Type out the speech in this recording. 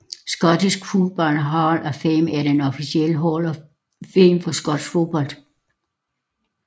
Scottish Football Hall of Fame er den officielle hall of fame for skotsk fodbold